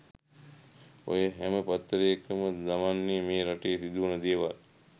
ඔය හැම පත්තරයකම දමන්නේ මේ රටේ සිදුවන දේවල්.